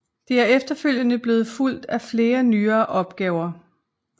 Det er efterfølgende blevet fulgt af flere nyere udgaver